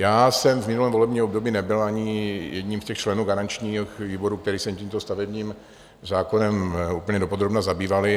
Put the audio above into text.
Já jsem v minulém volebním období nebyl ani jedním z těch členů garančních výborů, které se tímto stavebním zákonem úplně dopodrobna zabývaly.